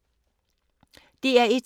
DR1